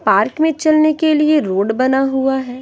Park में चलने के लिए रोड बना हुआ है।